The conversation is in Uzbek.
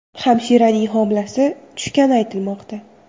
Hamshiraning homilasi tushgani aytilmoqda.